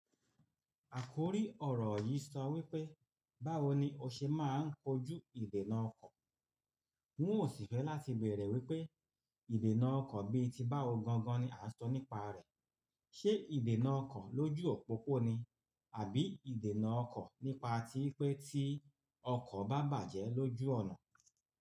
Àkòrí ọ̀rọ̀ yìí sọ wípé, báwo ni ó ṣe máa ń kojú ìdènà ọkọ̀, wọn ò sì fẹ́ láti bẹ̀rẹ̀ wípé ìdènà ọkọ̀ bí i ti bá ó gan gan ni a sọ nípa rẹ̀. Ṣé ìdènà ọkọ̀ lójú òpópóò ni? Àbí ìdènà ọkọ̀ nípa tí pé tí ọkọ̀ bá bàjẹ́ lójú ọ̀nà?